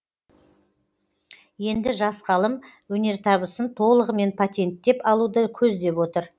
енді жас ғалым өнертабысын толығымен патенттеп алуды көздеп отыр